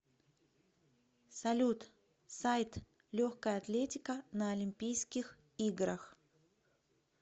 салют сайт легкая атлетика на олимпийских играх